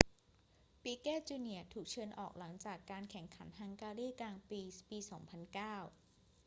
ปิเกต์ จูเนียร์ถูกเชิญออกหลังจากการแข่งขันฮังการีกรังด์ปรีซ์ปี 2009